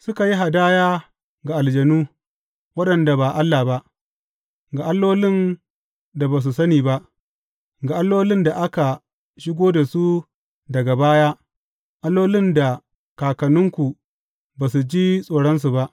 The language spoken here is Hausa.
Suka yi hadaya ga aljanu, waɗanda ba Allah ba, ga allolin da ba su sani ba, ga allolin da aka shigo da su daga baya, allolin da kakanninku ba su ji tsoronsu ba.